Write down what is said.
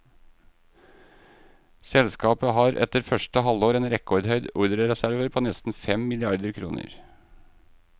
Selskapet har etter første halvår en rekordhøy ordrereserve på nesten fem milliarder kroner.